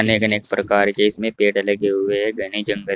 अनेक अनेक प्रकार के इसमें पेड़ लगे हुए हैं घने जंगल --